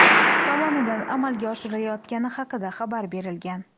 tomonidan amalga oshirilayotgani haqida xabar berilgan.